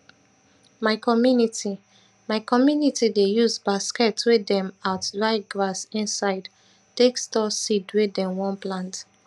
my community my community dey use basket wey dem out dry grass inside take store seed wey dem one plant